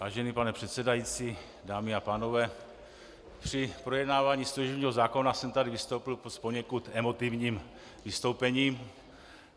Vážený pane předsedající, dámy a pánové, při projednávání služebního zákona jsem tady vystoupil s poněkud emotivním vystoupením.